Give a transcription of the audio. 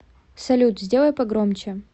салют сделай погромче